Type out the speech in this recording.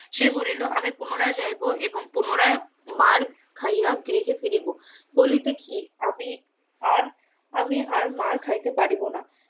সে বলিল আমি পুনরায় যাইবো এবং পুনরায় মার্ খাইয়া গৃহে ফিরিব বলিতে কি আমি আর আমি আর মার্ খাইতে পারিব না